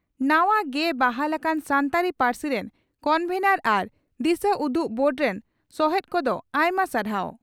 ᱱᱟᱣᱟ ᱜᱮ ᱵᱟᱦᱟᱞ ᱟᱠᱟᱱ ᱥᱟᱱᱛᱟᱲᱤ ᱯᱟᱹᱨᱥᱤ ᱨᱮᱱ ᱠᱚᱱᱵᱷᱮᱱᱚᱨ ᱟᱨ ᱫᱤᱥᱟᱹᱩᱫᱩᱜ ᱵᱳᱨᱰ ᱨᱮᱱ ᱥᱚᱦᱮᱛ ᱠᱚᱫᱚ ᱟᱭᱢᱟ ᱥᱟᱨᱦᱟᱣ ᱾